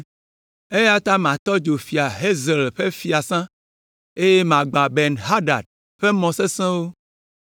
Eya ta matɔ dzo Fia Hazael ƒe fiasã, eye magbã Ben Hadad ƒe mɔ sesẽwo.